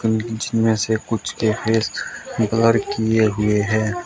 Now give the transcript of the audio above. इसमें से कुछ के फेस ब्लर किए हुए है।